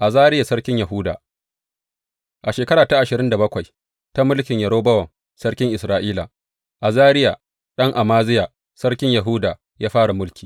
Azariya sarkin Yahuda A shekara ta ashirin da bakwai ta mulkin Yerobowam sarkin Isra’ila, Azariya ɗan Amaziya, sarkin Yahuda ya fara mulki.